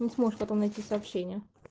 не сможешь потом найти сообщение